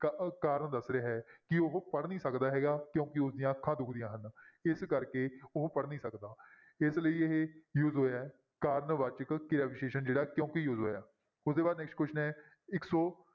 ਕਾ~ ਕਾਰਨ ਦੱਸ ਰਿਹਾ ਹੈ ਕਿ ਉਹ ਪੜ੍ਹ ਨਹੀਂ ਸਕਦਾ ਹੈਗਾ ਕਿਉਂਕਿ ਉਸਦੀਆਂ ਅੱਖਾਂ ਦੁਖਦੀਆਂ ਹਨ ਇਸ ਕਰਕੇ ਉਹ ਪੜ੍ਹ ਨਹੀਂ ਸਕਦਾ ਇਸ ਲਈ ਇਹ use ਹੋਇਆ ਹੈ ਕਾਰਨ ਵਾਚਕ ਕਿਰਿਆ ਵਿਸ਼ੇਸ਼ਣ ਜਿਹੜਾ ਕਿਉਂਕਿ use ਹੋਇਆ ਉਹਦੇ ਬਾਅਦ right answer ਹੈ ਇੱਕ ਸੌ